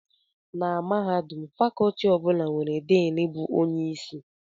Na mahadum, Fakọọti ọ bụla nwere Din bụ onye isi